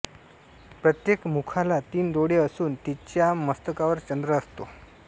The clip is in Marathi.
प्रत्येक मुखाला तीन डोळे असून तिच्या मस्तकावर चंद्र असतो